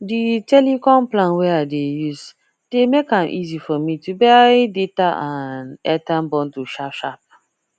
the telecom plan wey i dey use dey make am easy for me to buy data and airtime bundle sharpsharp